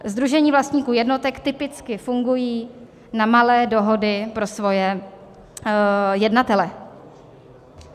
Sdružení vlastníků jednotek typicky fungují na malé dohody pro svoje jednatele.